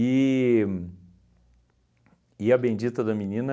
E a bendita da menina,